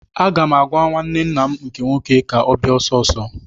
Aga m agwa nwanne nna m nke nwoke ka ọ bịa ọsọ ọsọ!